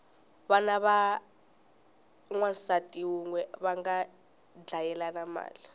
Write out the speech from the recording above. vana va wansati unwe vanga dlayelana mali